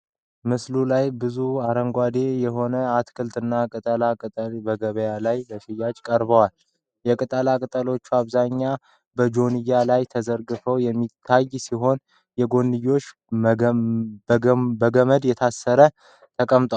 በምስሉ ላይ ብዙ አረንጓዴ የሆኑ አትክልቶችና ቅጠላ ቅጠሎች በገበያ ላይ ለሽያጭ ቀርበዋል። የቅጠሎቹ አብዛኛው በጆንያ ላይ ተዘርግፎ የሚታይ ሲሆን፣ የጎንዮሽ በገመድ ታስረው ተቀምጠዋል።